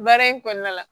Baara in kɔnɔna la